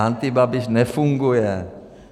Antibabiš nefunguje.